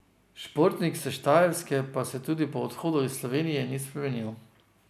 Športnik s štajerske pa se tudi po odhodu iz Slovenije ni spremenil.